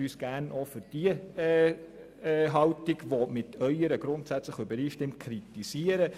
Sie dürfen uns gerne auch für diese Haltung, die mit der Ihren grundsätzlich übereinstimmt, grundsätzlich kritisieren.